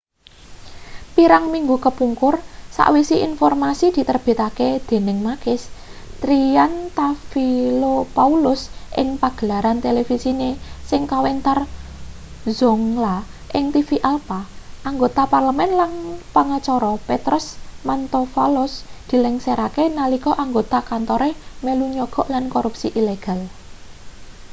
pirang minggu kepungkur sawise informasi diterbitake dening makis triantafylopoulos ing pagelaran televisine sing kawentar zoungla ing tv alpha anggota parlemen lan pengacara petros mantouvalos dilengserake nalika anggota kantore melu nyogok lan korupsi ilegal